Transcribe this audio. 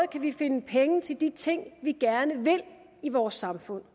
kan vi finde penge til de ting vi gerne vil i vores samfund